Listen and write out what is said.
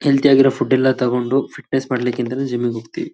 Healthy ಆಗಿರೋ food ಎಲ್ಲಾ ತಗೊಂಡು ಫಿಟ್ನೆಸ್ ಮಾಡ್ಲಿಕ್ಕೆ ಅಂತ ಜಿಮ್ ಗ್ ಹೋಗತೀವಿ .